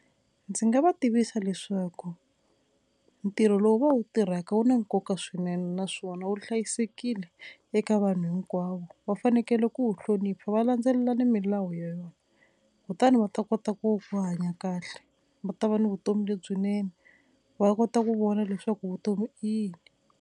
Ndzi nga va tivisa leswaku ntirho lowu va wu tirhaka wu na nkoka swinene naswona wu hlayisekile eka vanhu hinkwavo, va fanekele ku wu hlonipha va landzelela na milawu ya yona kutani va ta kota ku hanya kahle va ta va ni vutomi lebyinene va kota ku vona leswaku vutomi i yini.